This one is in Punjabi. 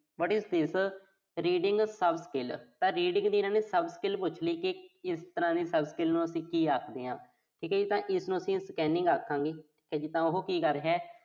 what is reading sub skill ਤਾਂ reading ਦੀ ਇਨ੍ਹਾਂ ਨੇ sub skill ਪੁੱਛਣੀ ਸੀ। ਇਸ ਤਰ੍ਹਾਂ ਦੀ sub skill ਨੂੰ ਅਸੀਂ ਕੀ ਆਖਦੇ ਆਂ। ਠੀਕ ਆ ਜੀ, ਤਾਂ ਇਸਨੂੰ ਅਸੀਂ scanning ਆਖਾਂਗੇ। ਤਾਂ ਉਹੋ ਕੀ ਕਰ ਰਿਹਾ।